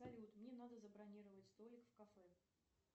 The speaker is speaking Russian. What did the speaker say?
салют мне надо забронировать столик в кафе